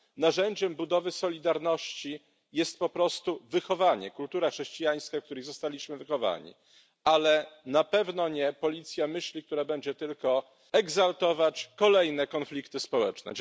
Narzędziem budowy solidarności jest po prostu wychowanie, kultura chrześcijańska, w której zostaliśmy wychowani, a na pewno nie policja myśli, która będzie tylko eskalować kolejne konflikty społeczne.